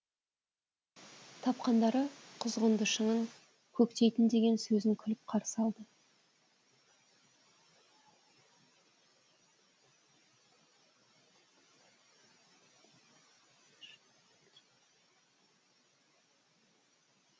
тапқандары құзғынды шыңын көктейік деген сөзін күліп қарсы алды